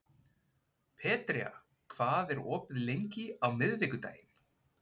Petrea, hvað er opið lengi á miðvikudaginn?